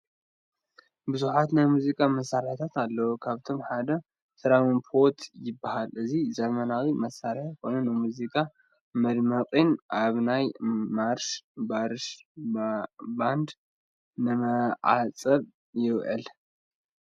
ብዙሓት ናይ ሙዚቃ መሳርሕታት ኣለው፡፡ ካብኣቶም ሓደ እዚ ትራምፔት ይባሃል፡፡ እዚ ዘበናዊ መሳርሒ ኮይኑ ንሙዚቃ መድመቒን ኣብ ናይ ማርሽ ባርሽ ባንድ ንመዐጀብን ይውዕል፡፡